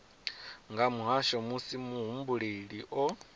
nga muhasho musi muhumbeli o